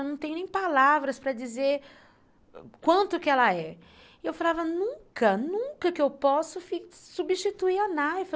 Eu não tenho nem palavras para dizer quanto que ela é. E eu falava, nunca, nunca que eu posso substituir a Naifa.